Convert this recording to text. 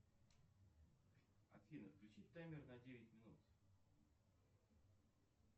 афина включи таймер на девять минут